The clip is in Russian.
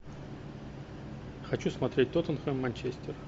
хочу смотреть тоттенхэм манчестер